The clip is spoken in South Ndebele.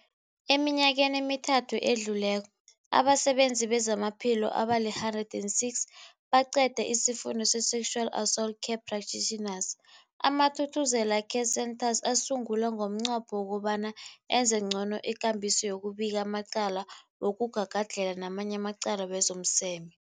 Eminyakeni emithathu edluleko, abasebenzi bezamaphilo abali-106 baqede isiFundo se-Sexual Assault Care Practitioners. AmaThuthuzela Care Centres asungulwa ngomnqopho wokobana enze ngcono ikambiso yokubika amacala wokugagadlhela namanye amacala wezomseme.